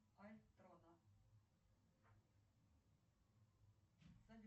как говорили ранее только какое пособие лучше